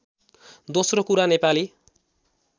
दोस्रो कुरा नेपाली